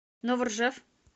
новоржев